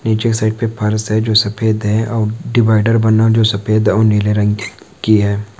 नीचे कि साइड पे फ़र्स है जो सफेद है और डिवाइडर बना जो सफ़ेद और नीले रंग कि की है।